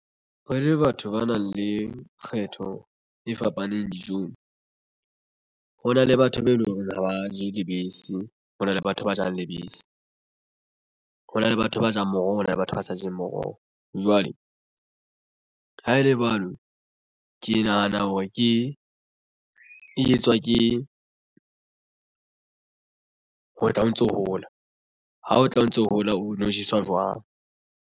Re le batho ba nang le kgetho e fapaneng le dijong hona le batho be eleng horeng ha ba je lebese hona le batho ba jalang lebese. Ho na le batho ba jang moroho, hona le batho ba sa jeng moroho jwale ha ele jwalo. Ke nahana hore ke e etswa ke ho tla o ntso hola ha o tla o ntso hola o no jeswa jwang.